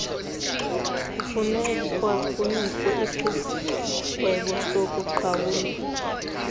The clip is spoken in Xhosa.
kufunekwa kunikwe isigwebosokuqhawula